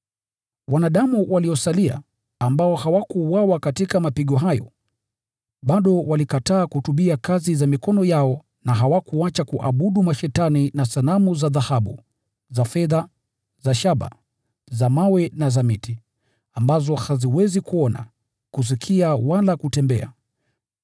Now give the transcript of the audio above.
Wanadamu waliosalia, ambao hawakuuawa katika mapigo hayo, bado walikataa kutubia kazi za mikono yao na hawakuacha kuabudu mashetani na sanamu za dhahabu, za fedha, za shaba, za mawe na za miti, ambazo haziwezi kuona, kusikia wala kutembea.